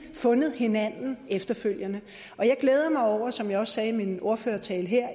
fundet hinanden efterfølgende jeg glæder mig meget over som jeg også sagde i min ordførertale her